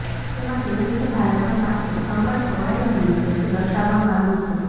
જેમાં કેવી રીતે ભારતના માથે સંકટ તોળાઈ રહ્યું છે તે દર્શાવવામાં આવ્યું છે